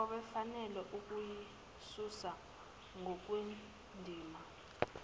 obefanele ukuyisusa ngokwendima